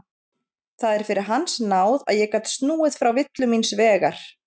Það er fyrir hans náð að ég gat snúið frá villu míns vegar.